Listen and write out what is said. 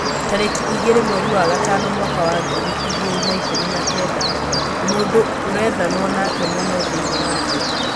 tarĩki igĩrĩ mweri wa gatano mwaka wa ngiri igĩrĩ na ikũmi na Kenda, mũndũ ũrethanwo nake mũno thĩinĩ wa thĩ